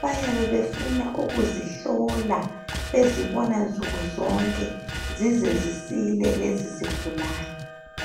bayabe befuna ukuzihlola bezibona nsukuzonke zize zisile lezo zigulane